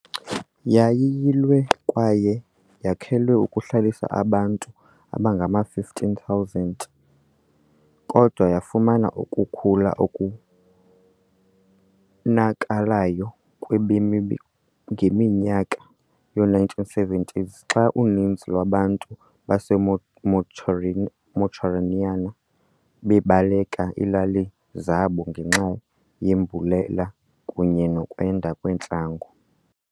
Yayiyilwe kwaye yakhelwe ukuhlalisa abantu abangama-15,000, kodwa yafumana ukukhula okubonakalayo kwabemi ngeminyaka yoo-1970s xa uninzi lwabantu baseMauritaniya babaleka iilali zabo ngenxa yembalela kunye nokwanda kwentlango.